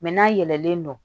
n'a yɛlɛlen don